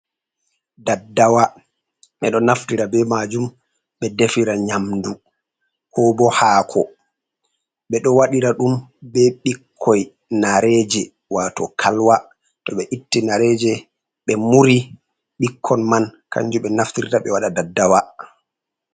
Daddawa ɓeɗo naftira be majum ɓe defira nyamdu, ko bo haako, ɓe ɗo waɗira ɗum be ɓikkoi nareje wato kalwa to ɓe itti nareje ɓe muri ɓikkon man kanjum ɓe naftirta ɓe waɗa daddawa.